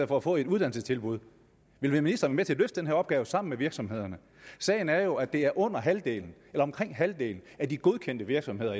for at få et uddannelsestilbud vil ministeren være med til at løse den her opgave sammen med virksomhederne sagen er jo at det er under halvdelen eller omkring halvdelen af de godkendte virksomheder